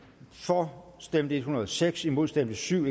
for stemte en hundrede og seks imod stemte syv